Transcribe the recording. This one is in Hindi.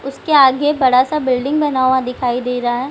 उसके आगे बड़ा सा बिल्डिंग बना हुआ दिखाई दे रहा है।